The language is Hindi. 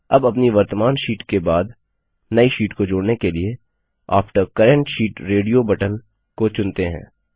अब अपनी वर्त्तमान शीट के बाद नई शीट को जोड़ने के लिए after current sheet radio button को चुनते हैं